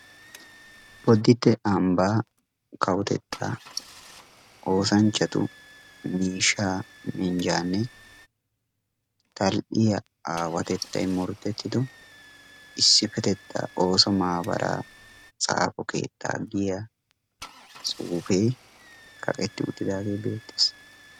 Bodditte ambbaa kawotettaa oosanchchatu miishshaa minjjaanne tall'iya aawatettayi morotettido issippetettan ooso maabaraa tsaafo keettaa giya tsuufee kaqetti uttidaagee beettes.